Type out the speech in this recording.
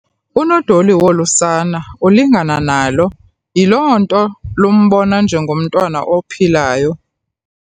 Unodoli wolu sana ulingana nalo yiloo nto lumbona njengomntwana ophilayo.